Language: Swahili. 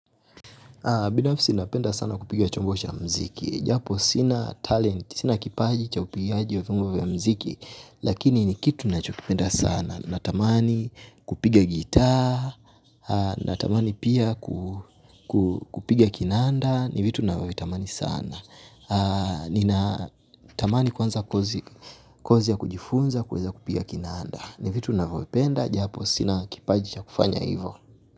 Binafsi napenda sana kupiga chombo cha mziki. Japo sina talent, sina kipaji cha upigaji wa vyombo vya mziki. Lakini ni kitu ninachokipenda sana. Natamani kupiga gitaa, natamani pia kupiga kinanda. Ni vitu ninavyovitamani sana. Natamani kwanza kozi ya kujifunza kuweza kupiga kinanda. Ni vitu ninavyovipenda. Japo sina kipaji cha kufanya hivo.